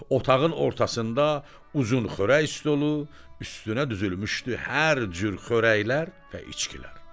Otağın ortasında uzun xörək stolu, üstünə düzülmüşdü hər cür xörəklər və içkilər.